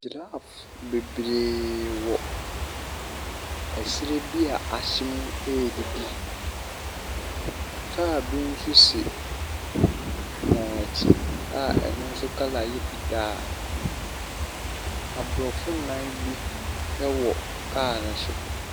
Giraffe bebree wɔ ɛserɛ bi a ahye mu redidi. Car bi nso si wɔn akyi a ɛno nso colour yɛ fitaa. Aborɔfo nnan bi wɔ car no so.